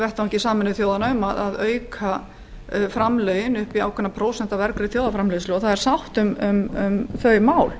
vettvangi sameinuðu þjóðanna um að auka framlög upp í ákveðna prósentu af vergri þjóðarframleiðslu sátt er um þau mál